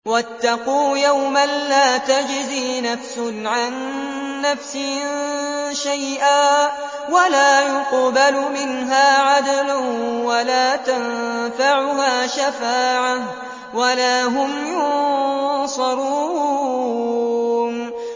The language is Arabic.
وَاتَّقُوا يَوْمًا لَّا تَجْزِي نَفْسٌ عَن نَّفْسٍ شَيْئًا وَلَا يُقْبَلُ مِنْهَا عَدْلٌ وَلَا تَنفَعُهَا شَفَاعَةٌ وَلَا هُمْ يُنصَرُونَ